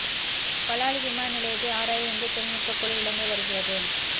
பலாலி விமான நிலையத்தை ஆராய இந்திய தொழில்நுட்பக் குழு இலங்கை வருகிறது